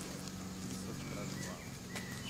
Tisočkrat hvala.